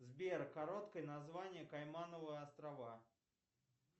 сбер короткое название каймановы острова